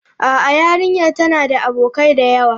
A'a, yarinyar tana da abokai da yawa.